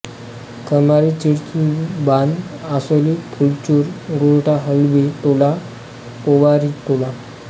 Khamari Chirchalbandh Asoli Phulchur Gortha Halbi Tola Powaritola